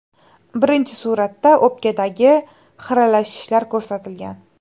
Birinchi suratda o‘pkadagi xiralashishlar ko‘rsatilgan.